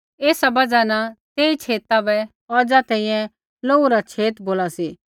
एसा बजहा न तेई छेता बै औज़ा तैंईंयैं लोहू रा छेत बोला सी